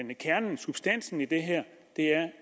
det kernen substansen i det her